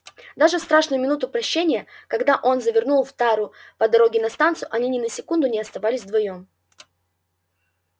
даже в страшную минуту прощанья когда он завернул в тару по дороге на станцию они ни на секунду не оставались вдвоём